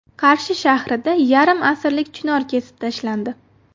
Qarshi shahrida yarim asrlik chinor kesib tashlandi.